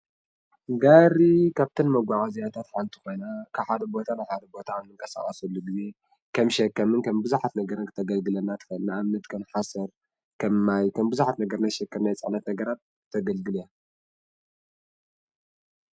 ጋሪ ካብቶም መጓዓዝያታት ሓንቲ ኮይና ካብ ሓደ ቦታ ናብ ሓደ ቦታ ንቅስቃሰሉ ግዜ ከም ሸከምን ከም ብዙሓት ነገራት ክተገልግለና ትኽእል እያ። ንኣብነት ከም ሓሰር ፣ ማይን ከም ብዙሓት ናይ ሸከምን ፅዕነትን ነገራት ክተገልግለና ትኽእል እያ።